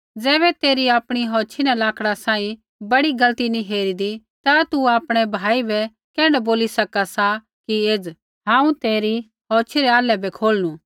ज़ैबै तेरी आपणी औछ़ी न लक्ड़ा सांही बड़ी गलती नी हेरिदी ता तू आपणै भाई बै कैण्ढै बोली सका सा कि एज़ हांऊँ तेरी औछ़ी रै आल्है बै खोलनू